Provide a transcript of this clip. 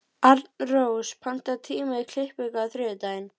Arnrós, pantaðu tíma í klippingu á þriðjudaginn.